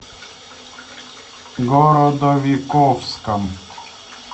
городовиковском